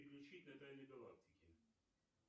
переключить на тайны галактики